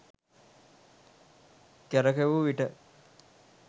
කරකැවූ විට